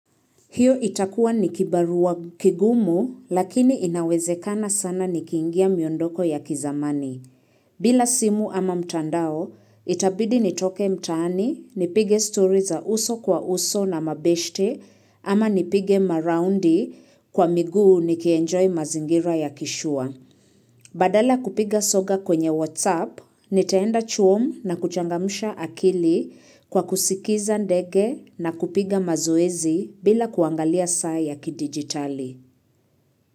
Hiyo itakua nikibarua kigumu lakini inawezekana sana nikiingia miondoko ya ki zamani. Bila simu ama mtandao, itabidi nitoke mtaani, nipige story za uso kwa uso na mabeshte ama nipige maroundi kwa miguu nikienjoy mazingira ya kishua. Badala kupiga soga kwenye WhatsApp, nitaenda chuom na kuchangamsha akili kwa kusikiza ndege na kupiga mazoezi bila kuangalia saa ya kidigitali.